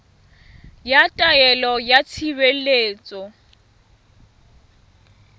ya taelo ya tshireletso ya